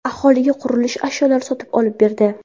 Aholiga qurilish ashyolari sotib olib berdi.